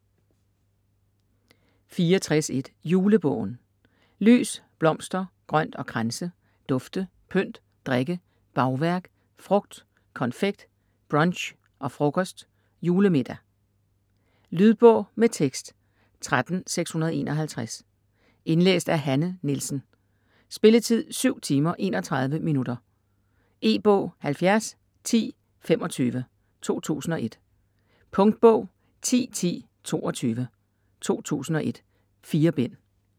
64.1 Julebogen Lys, blomster, grønt og kranse, dufte, pynt, drikke, bagværk, frugt, konfekt, brunch og frokost, julemiddag. Lydbog med tekst 13651 Indlæst af Hanne Nielsen Spilletid: 7 timer, 31 minutter. E-bog 701025 2001. Punktbog 101022 2001. 4 bind.